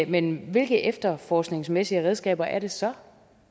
men hvilke efterforskningsmæssige redskaber er det så